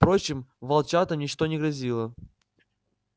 впрочем волчатам ничто не грозило